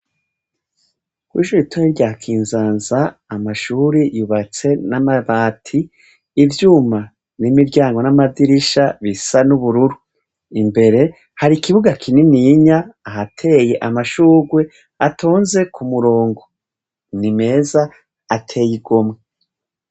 Kw'ishure ritoya rya kinzanza amashure yubatse n'amabati, ivyuma vy'imiryango n'amadirisha bisa n’ubururu, imbere hari ikibuga kininiya harateye amashugwe atonze ku murongo nimeza ateye igomwe.